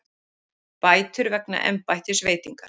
Bætur vegna embættisveitingar